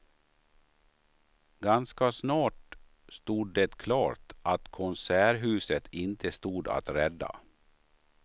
Ganska snart stod det klart att konserthuset inte stod att rädda.